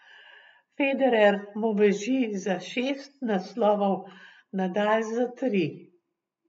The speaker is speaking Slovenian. Federer mu beži za šest naslovov, Nadal za tri.